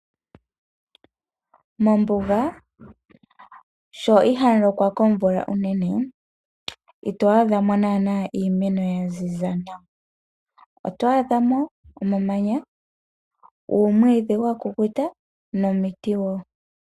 Mombuga sho ihamu lokwa komvula unene ito adha mo naana iimeno ya ziza nawa. Oto adha mo omamanya, uumwiidhi wa kukuta nomiti wo.